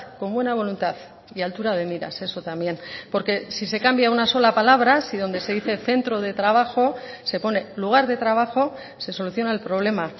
con buena voluntad y altura de miras eso también porque si se cambia una sola palabra si donde se dice centro de trabajo se pone lugar de trabajo se soluciona el problema